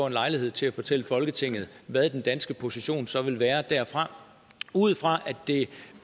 en lejlighed til at fortælle folketinget hvad den danske position så vil være derfra ud fra og det